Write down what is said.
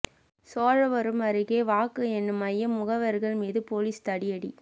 சோழவரம் அருகே வாக்கு எண்ணும் மையம் முகவர்கள் மீது போலீஸ் தடியடி